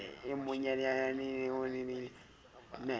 e monyenyaneyena o ne a